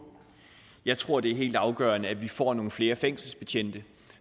jeg tror det er helt afgørende at vi får nogle flere fængselsbetjente